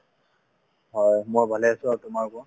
হয় মই ভালে আছো আৰু তোমাৰ কোৱা |